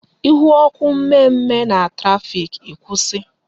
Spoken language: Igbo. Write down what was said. Ihu ọkụ mme mme na traffic, ikwusi